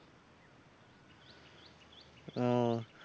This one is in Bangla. ওহ